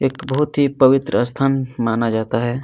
एक बहुत ही पवित्र स्थान माना जाता है।